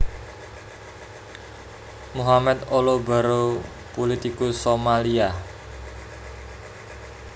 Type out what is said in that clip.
Mohamed Olow Barrow pulitikus Somalia